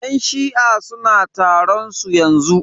Yan shi'a suna taron su yanzu.